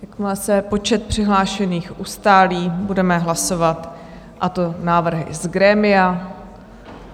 Jakmile se počet přihlášených ustálí, budeme hlasovat, a to návrhy z grémia.